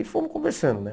E fomos conversando, né?